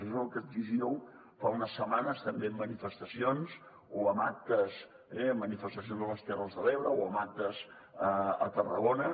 això és el que exigíeu fa unes setmanes també en manifestacions o amb actes eh amb manifestacions a les terres de l’ebre o amb actes a tarragona